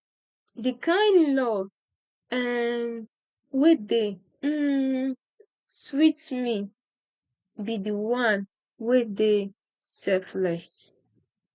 the kin love um wey dey um sweet me be the one wey dey selfless